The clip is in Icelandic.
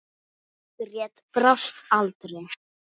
Margrét brást aldrei.